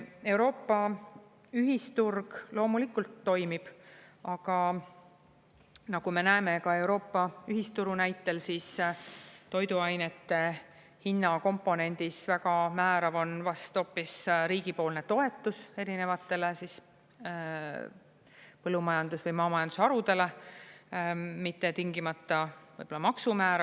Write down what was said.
Euroopa ühisturg loomulikult toimib, aga nagu me näeme ka Euroopa ühisturu näitel, siis toiduainete hinnakomponendis väga määrav on vast hoopis riigipoolne toetus erinevatele põllumajandus- või maamajandusharudele, mitte tingimata võib-olla maksumäär.